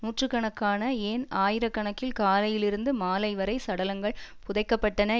நூற்று கணக்கான ஏன் ஆயிர கணக்கில் காலையிலிருந்து மாலை வரை சடலங்கள் புதைக்கப்பட்டன